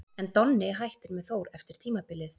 En Donni hættir með Þór eftir tímabilið.